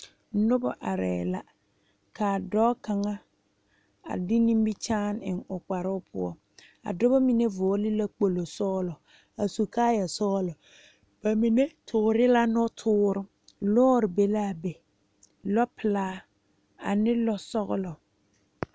Nobɔ arɛɛ la kaa dɔɔ kaŋa a de nimikyaane eŋ kparoo poɔ a dɔbɔ mine vɔɔle la kpogle sɔglɔ a su kaayɛ sɔglɔ ba mine toore la nɔtoore lɔɔre be laa be lɔ pelaa ane lɔ sɔglɔ.